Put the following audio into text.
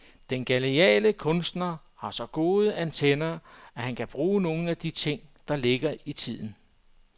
Den geniale kunstner har så gode antenner, at han kan bruge nogle af de ting, der ligger i tiden.